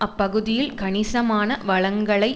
அப்பகுதியில் கணிசமான வளங்களை